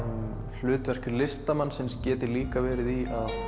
hlutverk listamannsins geti líka verið í að